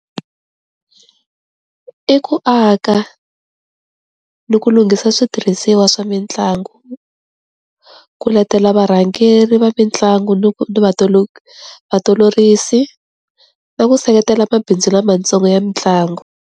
I ku aka ni ku lunghisa switirhisiwa swa mitlangu, ku letela varhangeri va mitlangu ni ku na ku seketela mabindzu lamatsongo ya mitlangu.